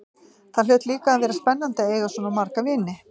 Það hlaut líka að vera spennandi að eiga svona marga vini.